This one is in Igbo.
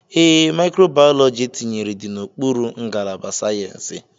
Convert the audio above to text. Ee, Micro biology etinyere dị n'okpuru ngalaba sayensị.